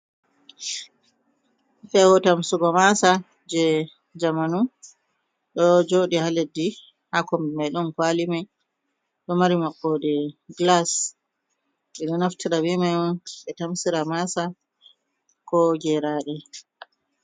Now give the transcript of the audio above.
Fehu tamsugo maasa je jamanu ɗo joɗi haa leddi, haa kombi mai ɗon kwali mai ɗo mari maɓɓode gilas. Ɓeɗo naftira be mai on ɓe tamsira maasa ko geraɗe.